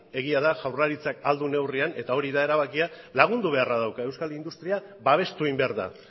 egia da jaurlaritzak ahal duen neurrian eta hori da erabakia lagundu beharra dauka euskal industria babestu egin behar da